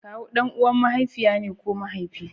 Kawu dan uwan mahaifiya ko mahaifi ne.